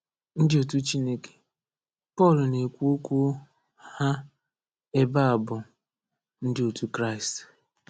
“Ndị otu Chineke” Pọl na-ekwu okwu ha ebe a bụ ndị otu Kraịst.